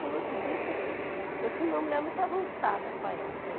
Como eu te disse, assim, eu fui uma mulher muito avançada para a época.